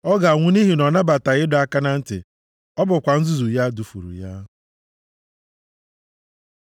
Ọ ga-anwụ nʼihi na ọ nabataghị ịdọ aka na ntị; ọ bụkwa nzuzu ya dufuru ya.